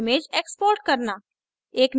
image export करना